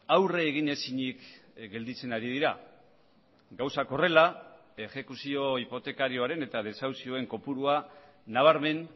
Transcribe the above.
aurre egin ezinik gelditzen ari dira gauzak horrela exekuzio hipotekarioaren eta desahuzioen kopurua nabarmen